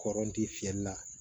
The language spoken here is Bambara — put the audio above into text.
Kɔrɔti fiyɛli la